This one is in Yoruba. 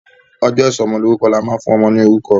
Ọjọ́ ìsọmọlórúkọ ni a máa ń fún ọmọ ní orúkọ.